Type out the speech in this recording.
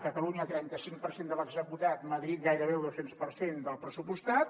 catalunya trenta cinc per cent de l’executat madrid gairebé el dos cents per cent del pressupostat